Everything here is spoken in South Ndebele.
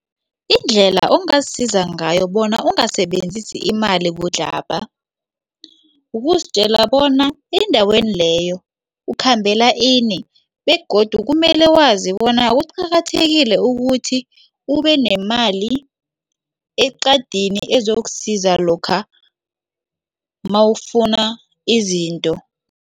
Indlela ongasiza ngayo bona ungasebenzisi imali budlabha ukusizitjela bona endaweni leyo ukhambela ini begodu kumele ilwazi bona kuqakathekile ukuthi ube nemali eqadini ezokusiza lokha mawufuna izinto.